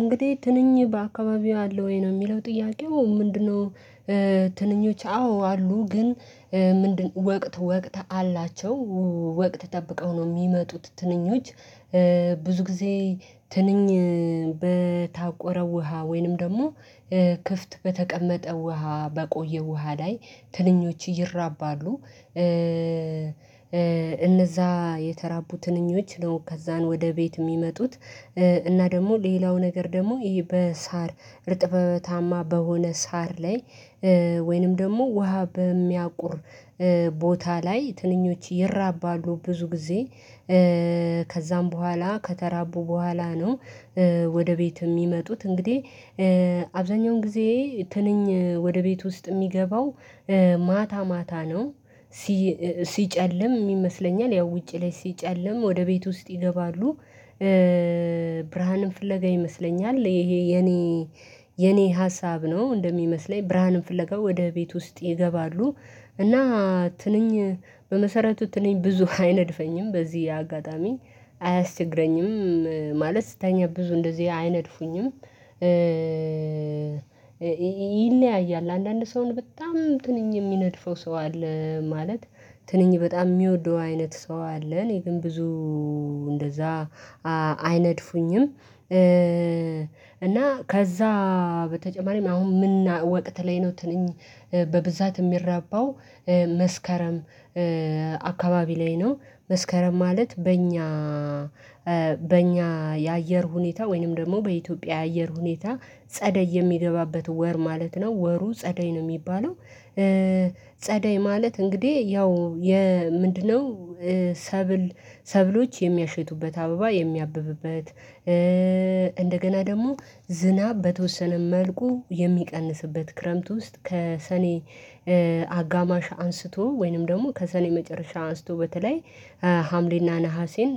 እንግዲህ ትንኝ በአካባቢው አለ ወይ? ነው የሚለው ጥያቄው ምንድነው እንግዲህ ትንኝ በአካባቢው አለ ወይ? ነው የሚለው ጥያቄው ምንድነው ብዙ ጊዜ ትንኝ በታቆረ ውሃ ወይንም ደግሞ ክፍት በተቀመጠ ውሃ በቆዬ ውሃ ላይ ትንኞች ይራባሉ። እነዚያ የተራቡ ትንኞች ነው ከዛን ወደ ቤት የሚመጡት። እና ደግሞ ሌላው ነገር ደግሞ በሳር እርጥበታማ በሆነ ሳር ላይ ወይንም ደግሞ ውሃ በሚያቁር ቦታ ላይ ትንኞች ይራባሉ። ብዙ ጊዜ ከዛም በኋላ ከተራቡ በኋላ ነው ወደ ቤት የሚመጡት እንግዲህ አብዛኛውን ጊዜ ትንኝ ወደ ቤት ውስጥ የሚገባው ማታ ማታ ነው። ሲጨልም ይመስለኛል ያው ውጪ ላይ ሲጨለም ወደ ቤት ውስጥ ይገባሉ። ብርሃንን ፍለጋ ይመስለኛል ይሄ የኔ የኔ ሀሳብ ነው እንደሚመስለኝ ብርሃንን ፍለጋ ወደ ቤት ውስጥ ይገባሉ። እና ትንኝ በመሰረቱ ትንኝ ብዙ አይነድፈኝም። በዚህ አጋጣሚ አያስቸግረኝም። ማለት ስተኛ ብዙ እንደዚህ አይነድፉኝም። ይለያያል። አንዳንድ ሰውን በጣም ትንኝ የሚነድፈው ሰው አለ። ማለት ትንኝ በጣም የሚወደው አይነት ሰው አለ። እኔ ግን ብዙ እንደዛ አይነድፉኝም። እና ከዛ በተጨማሪም አሁን ምን ወቅት ላይ ነው ትንኝ በብዛት የሚራባው መስከረም አካባቢ ላይ ነው። መስከረም ማለት በእኛ በእኛ የአየር ሁኔታ ወይንም ደግሞ በኢትዮጵያ የአየር ሁኔታ ጸደይ የሚገባበት ወር ማለት ነው። ወሩ ጸደይ ነው የሚባለው። ጸደይ ማለት እንግዲህ ያው የምንድነው ሰብል ሰብሎች የሚያሸቱበት፣ አበባ የሚያብብበት እንደገና ደግሞ ዝናብ በተወሰነ መልኩ የሚቀንስበት፣ ክረምት ውስጥ ከሰኔ አጋማሽ አንስቶ ወይንም ደግሞ ከሰኔ መጨረሻ አንስቶ በተለይ ሀምሌና ነሀሴን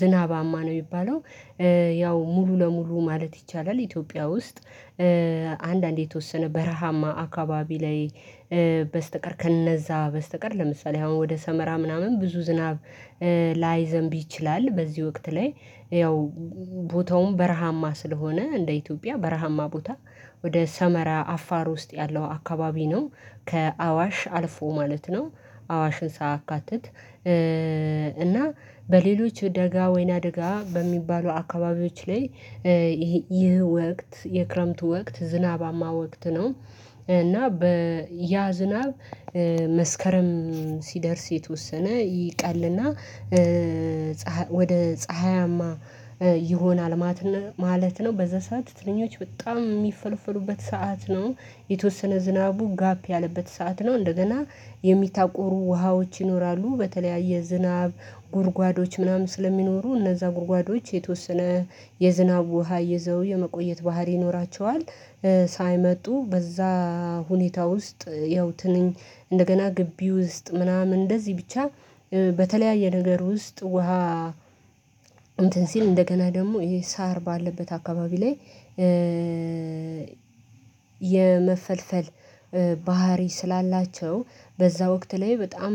ዝናባማ ነው የሚባለው። ያው ሙሉ ለሙሉ ማለት ይቻላል ኢትዮጵያ ውስጥ አንዳንዴ የተወሰነ በረሃማ አካባቢ ላይ በስተቀር ከነዛ በስተቀር ለምሳሌ አሁን ወደ ሰመራ ምናምን ብዙ ዝናብ ላይዘንብ ይችላል። በዚህ ወቅት ላይ ያው ቦታውን በረሃማ ስለሆነ እንደ ኢትዮጵያ በረሃማ ቦታ ወደ ሰመራ አፋር ውስጥ ያለው አካባቢ ነው። ከአዋሽ አልፎ ማለት ነው። አዋሽን ሳያካትት እና በሌሎች ደጋ ወይና ደጋ በሚባሉ አካባቢዎች ላይ ይህ ይህ ወቅት የክረምቱ ወቅት ዝናባማ ወቅት ነው። እና በያ ዝናብ መስከረም ሲደርስ የተወሰነ ይቀልና ፀሀ ወደ ፀሀያማ ይሆናል ማትነ ማለት ነው። በዛ ሰዓት ትንኞች በጣም የሚፈልፈሉበት ሰዓት ነው። የተወሰነ ዝናቡ ጋፕ ያለበት ሰዓት ነው። እንደገና መስከረም ሲደርስ የተወሰነ ይቀልና ፀሀ ወደ ፀሀያማ ይሆናል ማትነ ማለት ነው። በዛ ሰዓት ትንኞች በጣም የሚፈልፈሉበት ሰዓት ነው። የተወሰነ ዝናቡ ጋፕ ያለበት ሰዓት ነው። እንደገና በተለያየ ነገር ውስጥ ውሃ እንትን ሲል እንደገና ደግሞ ይሄ ሳር ባለበት አካባቢ ላይ የመፈልፈል ባህሪ ስላላቸው በዛ ወቅት ላይ በጣም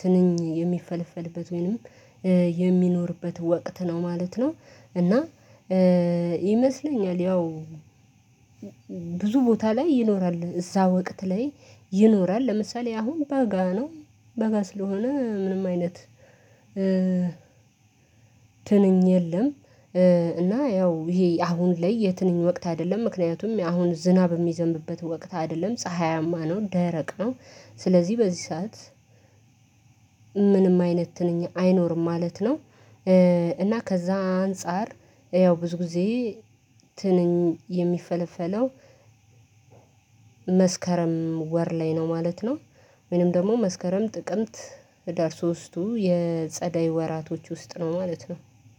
ትንኝ የሚፈለፈልበት ወይንም የሚኖርበት ወቅት ነው ማለት ነው። እና ይመስለኛል ያው ብዙ ቦታ ላይ ይኖራል። እዛ ወቅት ላይ ይኖራል። ለምሳሌ አሁን በጋ ነው። በጋ ስለሆነ ምንም አይነት ትንኝ የለም። እና ያው ይሄ አሁን ላይ የትንኝ ወቅት አይደለም። ምክንያቱም አሁን ዝናብ የሚዘንብበት ወቅት አይደለም። ፀሀያማ ነው። ደረቅ ነው። ስለዚህ በዚህ ሰዓት ምንም አይነት ነኝ አይኖርም ማለት ነው። እና ከዛ አንፃር ያው ብዙ ጊዜ ትንኝ የሚፈለፈለው መስከረም ወር ላይ ነው ማለት ነው ወይም ደግሞ መስከረም ጥቅምት ህዳር ሶስቱ የጸደይ ወራቶች ውስጥ ነው ማለት ነው።